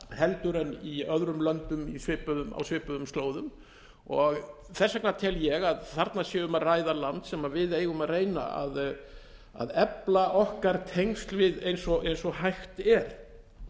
hraðar en í öðrum löndum á svipuðum slóðum og þess vegna tel ég að þarna sé um að ræða land sem við eigum að reyna að efla okkar tengsl við eins og hægt er